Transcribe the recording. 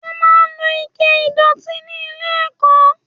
Wọ́n máa ń lo Ike ìdọ̀tí ní ilé ẹ̀kọ́